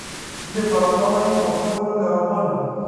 indim atadalayu osingolio le kamaru